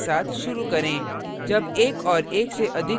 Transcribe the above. structure के परिचय के साथ शुरू करें